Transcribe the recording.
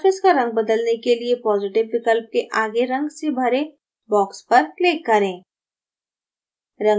surface का रंग बदलने के लिए positive विकल्प के आगे रंग से भरे box पर click करें